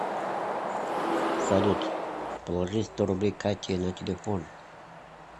салют положи сто рублей кате на телефон